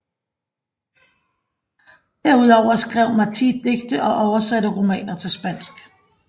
Derudover skrev Martí digte og oversatte romaner til spansk